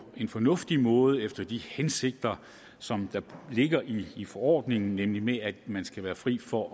en fornuftig måde og efter de hensigter som ligger i forordningen nemlig at man skal være fri for